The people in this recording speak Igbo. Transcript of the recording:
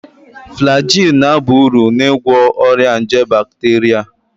Flagyl ga-aba uru n'ịgwọ ọrịa nje bakteria